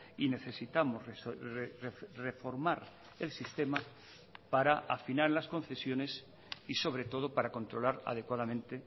y necesitamos reformar el sistema para afinar las concesiones y sobre todo para controlar adecuadamente